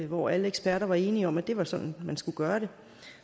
hvor alle eksperter var enige om at det var sådan man skulle gøre det